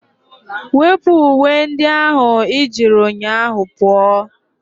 Wepụ uwe ndị ahụ ị jiri ụnyaahụ pụọ!